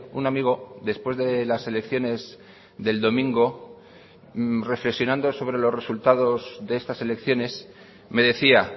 un amigo después de las elecciones del domingo reflexionando sobre los resultados de estas elecciones me decía